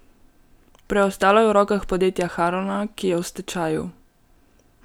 Preostalo je v rokah podjetja Harona, ki je v stečaju.